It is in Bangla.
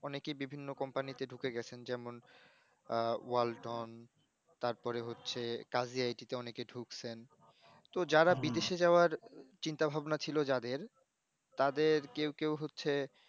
অনেকেই বিভিন্ন company তে ঢুকে গেছে যেমন ওয়ালটন, তারপরে হচ্ছে কাশি আইটি তে অনেকে ঢুকছেন তো যারা বিদেশ এ যাওয়ার চিন্তা ভাবনা ছিল যাদের তাদের কেউ কেউ হচ্ছে